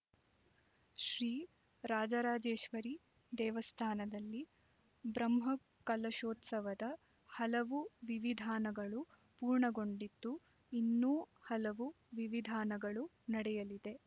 ಶ್ರೀ ರಾಜರಾಜೇಶ್ವರಿ ದೇವಸ್ಥಾನದಲ್ಲಿ ಬ್ರಹ್ಮಕಲಶೋತ್ಸವದ ಹಲವು ವಿವಿಧಾನಗಳು ಪೂರ್ಣಗೊಂಡಿದ್ದು ಇನ್ನೂ ಹಲವು ವಿವಿಧಾನಗಳು ನಡೆಯಲಿದೆ